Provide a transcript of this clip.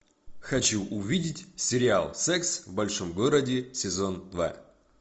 хочу увидеть сериал секс в большом городе сезон два